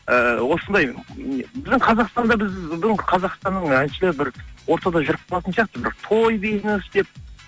ііі осындай біздің қазақстанда біздің қазақстанның әншілері бір ортада жүріп қалатын сияқты бір той бизнес деп